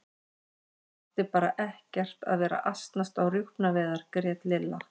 Hann átti bara ekkert að vera að asnast á rjúpnaveiðar grét Lilla.